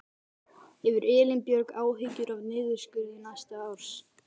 Hefur Elín Björg áhyggjur af niðurskurði næsta árs?